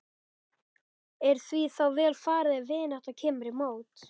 Er því þá vel varið ef vinátta kemur í mót.